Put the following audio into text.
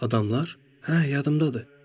Adamlar, hə, yadımdadır.